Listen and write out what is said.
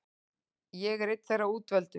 Ég er einn þeirra útvöldu.